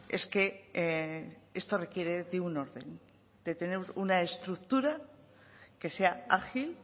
es que esto requiere de un orden de tener una estructura que sea ágil